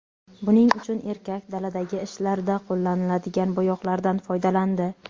Buning uchun erkak daladagi ishlarda qo‘llaniladigan bo‘yoqlardan foydalandi.